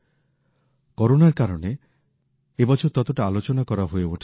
করোনার কারণে এই বছর ততটা আলোচনা করা হয়ে ওঠেনি